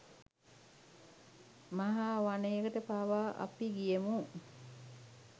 මහ වනයකට පවා අපි ගියෙමු